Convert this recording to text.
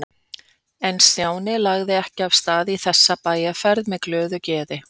En Stjáni lagði ekki af stað í þessa bæjarferð með glöðu geði.